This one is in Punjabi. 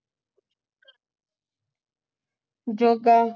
ਜੋਗਾ